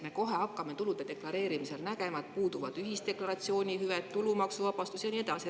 Me kohe hakkame tulude deklareerimisel nägema, et puuduvad ühisdeklaratsiooni hüved, tulumaksuvabastus ja nii edasi.